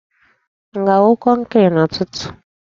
M ga-awu kọnkri n'ụtụtụ?